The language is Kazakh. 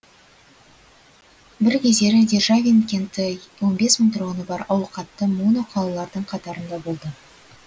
бір кездері державин кенті он бес мың тұрғыны бар ауқатты моно қалалардың қатарында болды